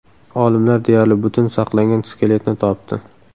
Olimlar deyarli butun saqlangan skeletni topdi.